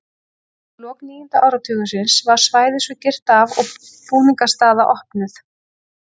Undir lok níunda áratugarins var svæðið svo girt af og búningsaðstaða opnuð.